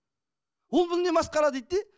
ол бұл не масқара дейді де